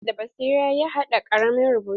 James da basira ya haɗa ƙaramin rubutu.